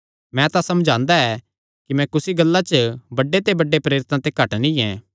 मैं तां समझांदा ऐ कि मैं कुसी गल्ला च बड्डे ते बड्डे प्रेरितां ते घट नीं ऐ